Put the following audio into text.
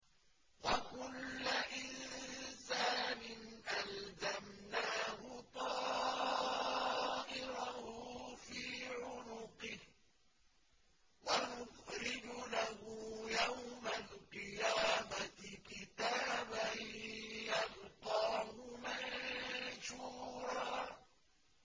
وَكُلَّ إِنسَانٍ أَلْزَمْنَاهُ طَائِرَهُ فِي عُنُقِهِ ۖ وَنُخْرِجُ لَهُ يَوْمَ الْقِيَامَةِ كِتَابًا يَلْقَاهُ مَنشُورًا